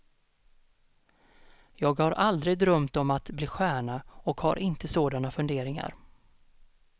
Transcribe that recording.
Jag har aldrig drömt om att bli stjärna och har inte sådana funderingar.